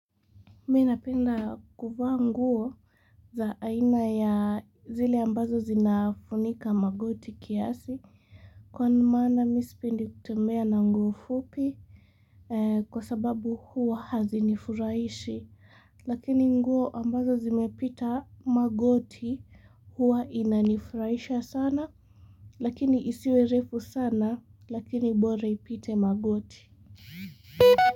Minapenda kuvaa nguo za aina ya zili ambazo zinafunika magoti kiasi kwa nimana misipendi kutembea na nguo fupi kwa sababu huo hazinifurahishi lakini nguo ambazo zimepita magoti huwa inanifurahisha sana lakini isiwe refu sana lakini bora ivuke magoti.